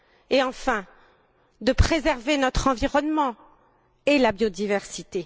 et, enfin, de préserver notre environnement et la biodiversité.